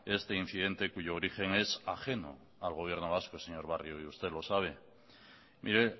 este incidente cuyo origen es ajeno al gobierno vasco señor barrio y usted lo sabe mire